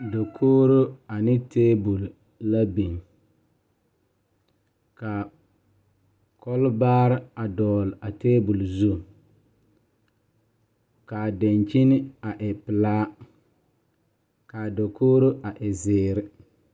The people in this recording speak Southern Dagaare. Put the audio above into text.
Dakogro ane tabol la biŋ ka kɔlebaare a dɔgle a tabol zu ka a dankyini a e pelaa k,a Dakogro a e zeere.